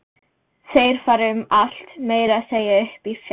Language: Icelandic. Þeir fara um allt, meira að segja upp í fjall.